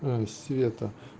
света